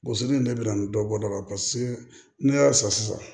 Gosili ne bi na ni dɔ bɔda ye paseke ne y'a san sisan